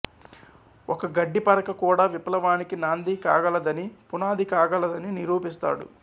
ఒక గడ్డి పరక కూడా విప్లవానికి నాంది కాగలదని పునాది కాగలదని నిరూపిస్తాడు